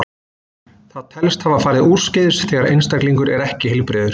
Það telst hafa farið úrskeiðis þegar einstaklingur er ekki heilbrigður.